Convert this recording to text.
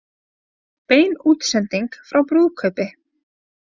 Bein útsending frá brúðkaupi